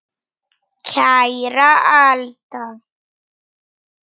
Kæra Alda.